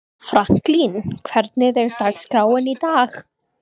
Franklín, hvernig er dagskráin í dag?